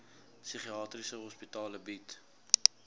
psigiatriese hospitale bied